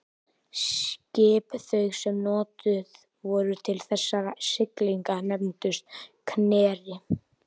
Skip þau sem notuð voru til þessara siglinga nefndust knerrir.